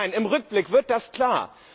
Im Nachhinein, im Rückblick wird das klar.